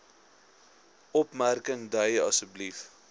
opmerking dui asb